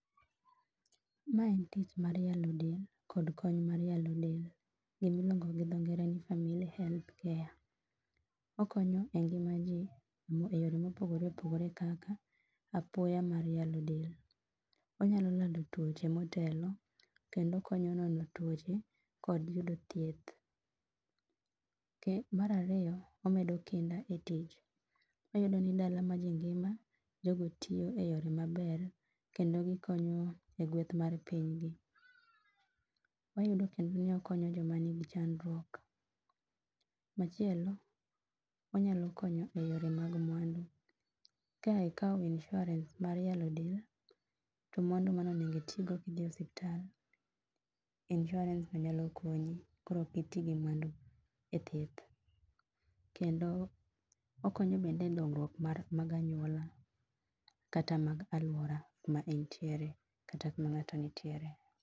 Mae en tich mar yalo del kod kony mar yalo del. Gimiluongo gi dho ngere ni family health care. Okonyo e ngima ji e yore mopogore opogore kaka apoya mar yalo del. Wanyalo nono tuoche motelo kendo okonyo nono tuoche kod yudo thieth. Mar ariyo, omedo kinda e tich. wayudo ni dala ma ji ngima, jogo tiyo e yore maber kendo gikonyo e gweth mar pinygi. Wayudo kendo ni okonyo joma nigi chandruok. Machielo, onyalo konyo e yore mag mwandu. Ka ikawo insurance mar yalo del, to mano onego itigo kidhi e osuptal, insurance ni nyalo konyi, koro ok iti gi mwandu e thieth. Kendo, okonyo bende e dongruok mag anyuola kata mag alwora kuma intie kata kuma ng'ato nitiere.